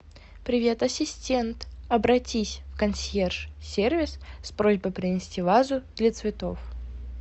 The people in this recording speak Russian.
привет ассистент обратись в консьерж сервис с просьбой принести вазу для цветов